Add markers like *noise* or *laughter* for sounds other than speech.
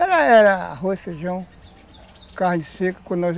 Era era arroz, feijão, carne seca *unintelligible*